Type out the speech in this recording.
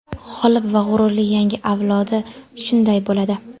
g‘olib va g‘ururli yangi avlodi shunday bo‘ladi!.